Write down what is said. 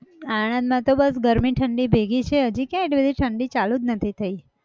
આણદમાં તો બસ ગરમી ઠંડી ભેગી છે હજી ક્યાં એટલી બધી ઠંડી ચાલુ જ નથી થઇ.